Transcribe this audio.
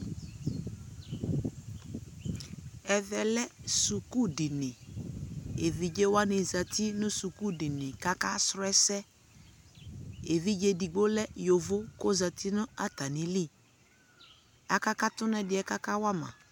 ɛvɛ lɛ skʋl dini ɛvidzɛ wanizati nʋ skʋl dini kʋaka srɔ ɛsɛ ɛvidzɛ ɛdigbɔ lɛ yɔvɔ kʋ ɔzati nʋ atani li, akakatʋ nʋ ɛdiɛ aka wama